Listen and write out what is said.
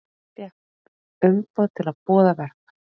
Fékk umboð til að boða verkfall